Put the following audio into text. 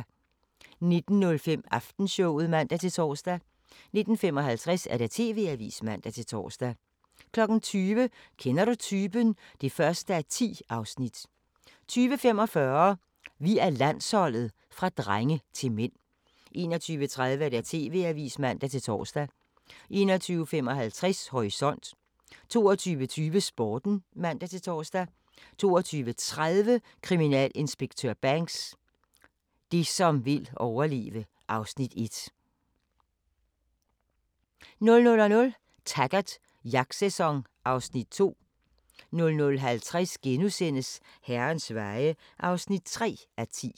19:05: Aftenshowet (man-tor) 19:55: TV-avisen (man-tor) 20:00: Kender du typen? (1:10) 20:45: Vi er Landsholdet – fra drenge til mænd 21:30: TV-avisen (man-tor) 21:55: Horisont 22:20: Sporten (man-tor) 22:30: Kriminalinspektør Banks: Det som vil overleve (Afs. 1) 00:00: Taggart: Jagtsæson (Afs. 2) 00:50: Herrens veje (3:10)*